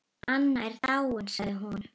Anna er dáin sagði hún.